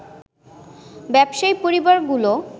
ব্যবসায়ী পরিবারগুলো